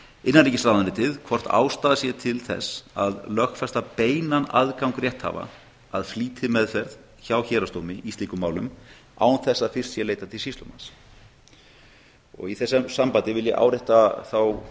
innanríkisráðuneytið hvort ástæða sé til að lögfesta beinan aðgang rétthafa að flýtimeðferð hjá héraðsdómi í slíkum málum án þess að fyrst sé leitað til sýslumanns í þessu sambandi vil ég árétta þá